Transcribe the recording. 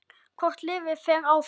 Hvort liðið fer áfram?